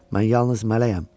Mən yalnız mələyəm.